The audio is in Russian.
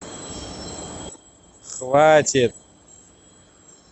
хватит